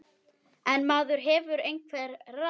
En maður hefur einhver ráð.